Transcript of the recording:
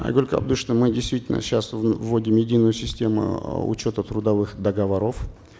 айгуль кабдошовна мы действительно сейчас вводим единую систему э учета трудовых договоров